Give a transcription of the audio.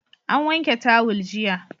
An wanke tawul jiya.